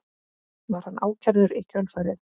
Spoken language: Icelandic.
Var hann ákærður í kjölfarið